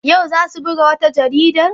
Yau za su buga wata jarida?